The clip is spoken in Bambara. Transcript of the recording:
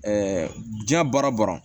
diɲɛ baara bɔra